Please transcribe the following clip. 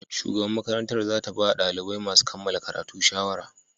Shugaban makarantar za ta ba dalibai masu kammala karatu shawara.